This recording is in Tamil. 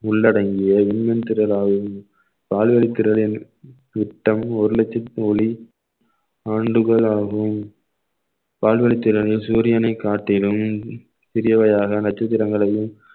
உள்ளடங்கிய இன்னும் திரளாவின் பால்வழித்திறலில் மொத்தம் ஒரு லட்சத்தி ஒலி ஆண்டுகள் ஆகும் பால்வழித்திறலில் சூரியனை காத்திடும் பிரியவையாக நட்சத்திரங்களையும்